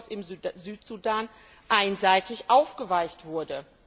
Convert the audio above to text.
im Südsudan einseitig aufgeweicht wurde.